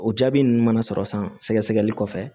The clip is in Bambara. O jaabi ninnu mana sɔrɔ san sɛgɛsɛgɛli kɔfɛ